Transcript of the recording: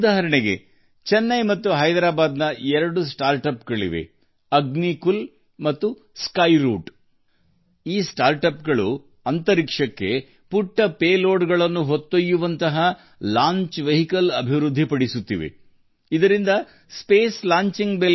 ಉದಾಹರಣೆಗೆ ಚೆನ್ನೈ ಮತ್ತು ಹೈದರಾಬಾದ್ಗಳು ಎರಡು ನವೋದ್ಯಮಗಳನ್ನು ಹೊಂದಿವೆ ಅವುಗಳೆಂದರೆ ಅಗ್ನಿಕುಲ್ ಮತ್ತು ಸ್ಕೈರೂಟ್ ಈ ಸ್ಟಾರ್ಟ್ಅಪ್ಗಳು ಉಡಾವಣಾ ವಾಹನಗಳನ್ನು ಅಭಿವೃದ್ಧಿಪಡಿಸುತ್ತಿವೆ ಅದು ಸಣ್ಣ ಪೇಲೋಡ್ಗಳನ್ನು ಬಾಹ್ಯಾಕಾಶಕ್ಕೆ ಕೊಂಡೊಯ್ಯುತ್ತದೆ